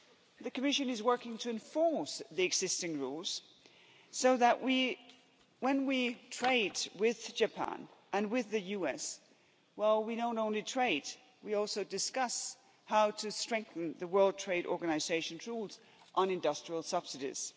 The Commission is working to enforce the existing rules, so that when we trade with Japan and with the US, well, we don't only trade, we also discuss how to strengthen the World Trade Organisation's rules on industrial subsidies.